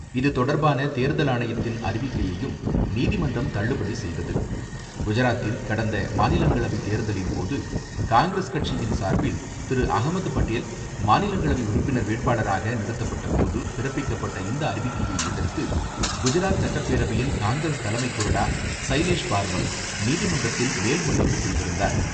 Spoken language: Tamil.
இதுதொடர்பான தேர்தல் ஆணையத்தின் அறிவிக்கையையும் நீதிமன்றம் தள்ளுபடி செய்தது. குஜராத்தில் கடந்த மாநிலங்களவை தேர்தலின் போது, காங்கிரஸ் கட்சியின் சார்பில் திரு.அஹமத் பட்டேல் மாநிலங்களவை உறுப்பினர் வேட்பாளராக நிறுத்தப்பட்ட போது, பிறப்பிக்கப்பட்ட இந்த அறிவிக்கையை எதிர்த்து, குஜராத் சட்டப்பேரவையின் காங்கிரஸ் தலைமை கொறடா சைலேஷ் பார்மர் நீதிமன்றத்தில் மேல்முறையீடு செய்திருந்தார்.